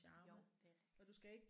Jo det er rigtigt